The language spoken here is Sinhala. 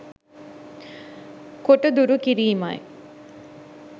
කොට දුරු කිරීමයි.